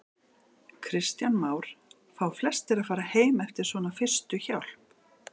Kristján Már: Fá flestir að fara heim eftir svona fyrstu hjálp?